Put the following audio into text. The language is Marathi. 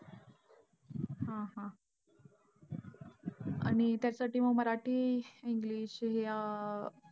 हा हा. आणि त्यासाठी मग मराठी english या अं